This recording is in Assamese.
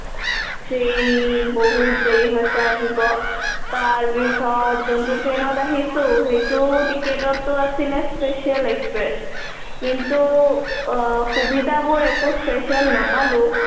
train বহুত দেৰি হৈছে আহিব, তাৰ পিছত যোনটো train ত আহিছো সেইটো ticket তটো আছিলে special express কিন্তু সুবিধাবোৰ একো special নাপালো